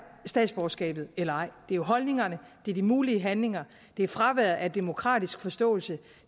statsborgerskabet eller ej det er jo holdningerne det er de mulige handlinger det er fraværet af demokratisk forståelse